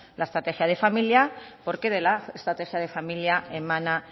la estrategia de familia porque de la estrategia de familia emana